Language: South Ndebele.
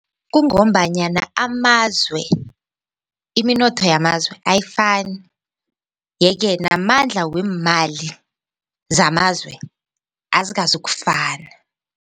Kungombanyana amazwe iminotho yamazwe ayifani yeke namandla weemali zamazwe azikazokufana.